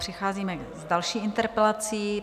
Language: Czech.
Přicházíme k další interpelaci.